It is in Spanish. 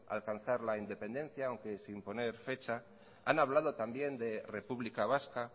alcanzar la independencia aunque sin poner fecha han hablado también de república vasca